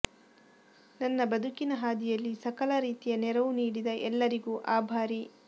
ನನ್ನ ಬದುಕಿನ ಹಾದಿಯಲ್ಲಿ ಸಕಲ ರೀತಿಯ ನೆರವು ನೀಡಿದ ಎಲ್ಲರಿಗೂ ಆಭಾರಿ